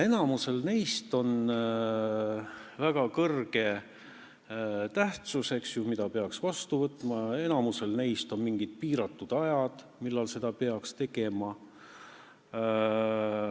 Enamikul neist on väga suur tähtsus, need peaks vastu võtma, ja enamikul neist on mingi piiratud aeg, mille jooksul seda peaks tegema.